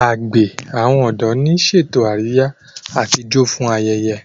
àgbè àwọn odò ní ṣètò Àríyá àti ìjọ fún ayẹyẹ.